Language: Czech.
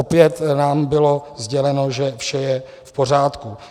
Opět nám bylo sděleno, že vše je v pořádku.